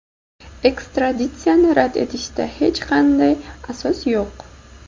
ekstraditsiyani rad etishda hech qanday asos yo‘q.